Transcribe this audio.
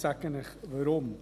Ich sage Ihnen weshalb.